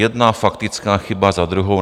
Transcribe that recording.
Jedna faktická chyba za druhou.